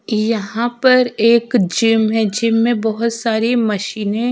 यहा पर एक जिम है जिम में बहोत सारी मशीनें --